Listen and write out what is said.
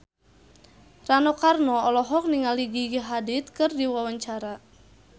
Rano Karno olohok ningali Gigi Hadid keur diwawancara